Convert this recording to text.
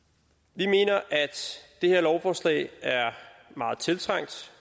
vi mener at det her lovforslag er meget tiltrængt